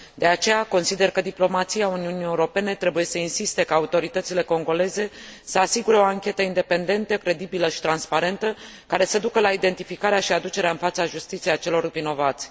De aceea, consider că diplomația Uniunii Europene trebuie să insiste ca autoritățile congoleze să asigure o anchetă independentă, credibilă și transparentă, care să ducă la identificarea și aducerea în fața justiției a celor vinovați.